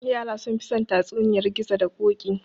Yara sunfi son tatsuniyar gizo da koɗi